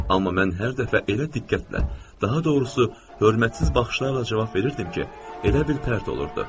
Amma mən hər dəfə elə diqqətlə, daha doğrusu hörmətsiz baxışlarla cavab verirdim ki, elə bil pərdə olurdu.